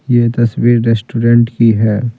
यह तस्वीर रेस्टोरेंट की है।